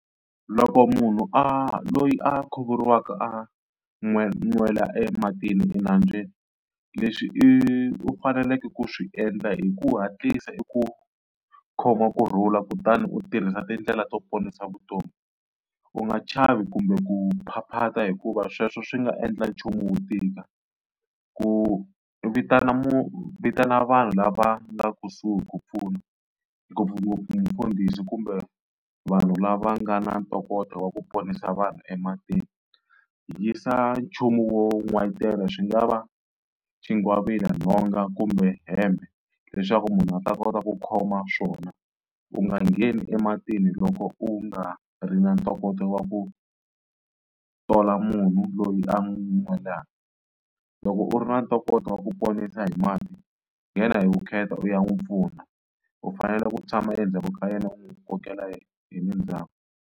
Loko munhu a loyi a khuvuriwaka a nwela ematini enambyeni leswi i u faneleke ku swi endla i ku hatlisa i ku khoma kurhula kutani u tirhisa tindlela to ponisa vutomi. U nga chavi kumbe ku phaphata hikuva sweswo swi nga endla nchumu wu tika, ku vitana vitana vanhu lava nga kusuhi ku pfuna ngopfungopfu mufundhisi kumbe vanhu lava nga na ntokoto wa ku ponisa vanhu ematini. Yisa nchumu wo n'wayitela swi nga va xigwavila, nhonga kumbe hembe leswaku munhu a ta kota ku khoma swona. U nga ngheni ematini loko u nga ri na ntokoto wa ku tola munhu loyi a nwelaka, loko u ri na ntokoto wa ku ponisa hi mati nghena hi vukheta u ya n'wi pfuna u fanele ku tshama endzhaku ka yena u n'wi kokela hi le ndzhaku.